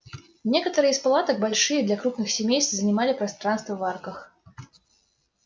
некоторые из палаток большие для крупных семейств занимали пространство в арках